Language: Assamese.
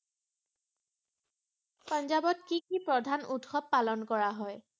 পাঞ্জাবত কি কি প্ৰধান উৎসব পালন কৰা হয়?